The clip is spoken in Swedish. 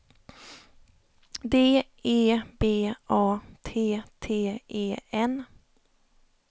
D E B A T T E N